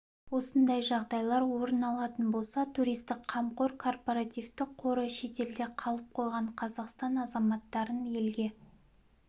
осындай жағдайлар орын алатын болса туристік қамқор корпоративтік қоры шетелде қалып қойған қазақстан азаматтарын елге